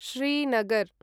Srinagar